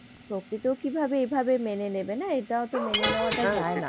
প্রকৃতিও কিভাবে এভাবে মেনে নেবে না। এটাওতো মেনে নেওয়াটা যায় না।